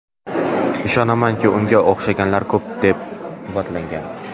Ishonamanki, unga o‘xshaganlar ko‘p”, deb quvvatlagan.